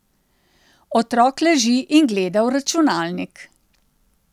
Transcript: Otrok leži in gleda v računalnik.